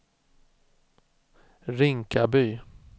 Rinkaby